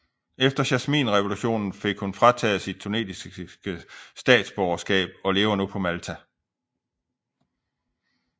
Efter Jasminrevolutionen fik hun frataget sit tunesiske statsborgerskab og lever nu på Malta